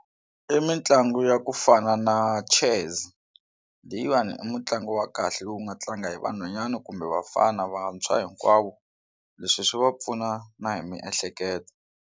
I mitlangu ya ku fana na chess leyiwani i mutlangi wa kahle lowu nga tlanga hi vanhwanyana kumbe vafana vantshwa hinkwavo leswi swi va pfuna na hi miehleketo.